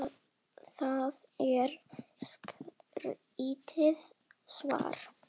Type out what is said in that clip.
Það er skrítið svar.